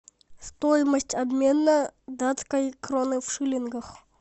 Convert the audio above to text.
стоимость обмена датской кроны в шиллингах